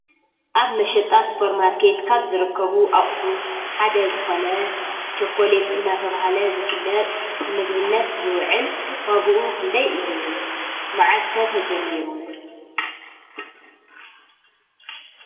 ኣብ መሸጣ ሱፑርማርከት ካብ ዝርከቡ ኣቑሑ ሓደ ዝኾነ ቸኮሌት እዳተበሃለ ዝፍለጥ ንምግብነት ዝውዕል ዋግኡ ክንደይ እዩ? መዓዝ ከ ተጀሚሩ?